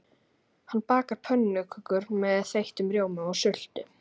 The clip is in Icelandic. Hanna bakar pönnukökur með þeyttum rjóma og sultu.